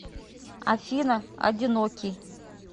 афина одинокий